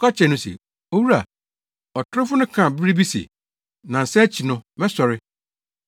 kɔka kyerɛɛ no se, “Owura, ɔtorofo no kaa bere bi se, ‘Nnansa akyi no mɛsɔre.’